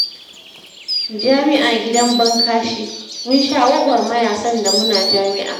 Jami'a gidan ban kashi! Mun sha gwagwarmaya sanda muna jami'a